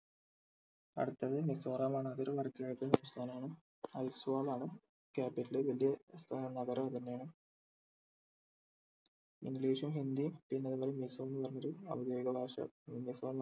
അടുത്തത് മിസോറാം ആണ് അത് ഒരു വടക്ക് കിഴക്കൻ സംസ്ഥാനം ആണ് ഐസ്വാൾ ആണ് capital വലിയ ഏർ നഗരവും അത് തന്നെ ആണ് english ഉം ഹിന്ദിയും പിന്നെ അതുപോലെ മിസോ എന്ന് പറഞ്ഞൊരു ഔദ്യോദിഗ ഭാഷ